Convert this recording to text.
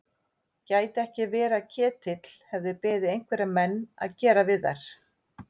Gæti ekki verið að Ketill hefði beðið einhverja menn að gera við þær?